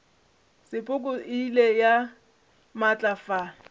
sepoko e ile ya matlafala